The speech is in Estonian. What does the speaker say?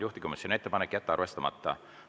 Juhtivkomisjoni ettepanek on jätta arvestamata.